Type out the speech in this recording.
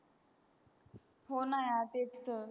हो न यार तेच तर